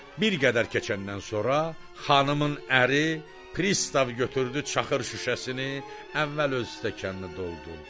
Bir qədər keçəndən sonra xanımın əri pristav götürdü çaxır şüşəsini, əvvəl öz stəkanını doldurdu.